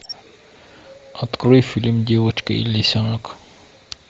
открой фильм девочка и лисенок